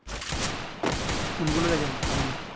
কোন গুলো দেখেন তামিল?